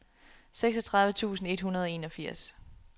seksogtredive tusind et hundrede og enogfirs